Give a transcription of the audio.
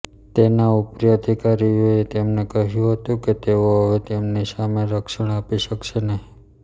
તેના ઉપરી અધિકારીઓએ તેમને કહ્યું હતું કે તેઓ હવે તેમની સામે રક્ષણ આપી શકશે નહીં